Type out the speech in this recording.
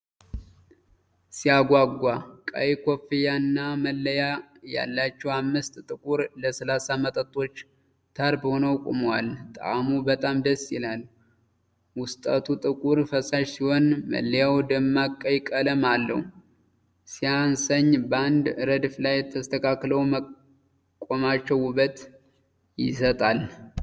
ሲያጓጓ! ቀይ ኮፍያና መለያ ያላቸው አምስት ጥቁር ለስላሳ መጠጦች ተርብ ሆነው ቆመዋል። ጣእሙ! በጣም ደስ ይላል! ውስጠቱ ጥቁር ፈሳሽ ሲሆን መለያው ደማቅ ቀይ ቀለም አለው። ሲያሰኝ! በአንድ ረድፍ ላይ ተስተካክለው መቆማቸው ውበት ይሰጣል።